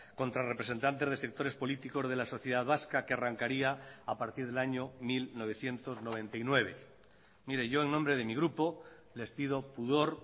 contra representantes de sectores políticos de la sociedad vasca que arrancaría a partir del año mil novecientos noventa y nueve mire yo en nombre de mi grupo les pido pudor